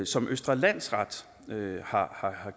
som østre landsret har